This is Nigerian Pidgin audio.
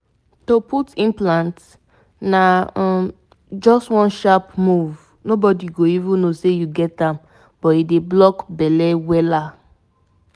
that implant go hold you strong for like three years belle no fit show and you no go dey reason pills up and down